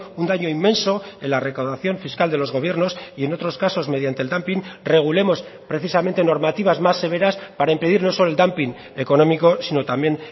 un daño inmenso en la recaudación fiscal de los gobiernos y en otros casos mediante el dumping regulemos precisamente normativas más severas para impedir no solo el dumping económico sino también